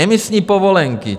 Emisní povolenky.